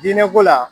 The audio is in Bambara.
Diinɛko la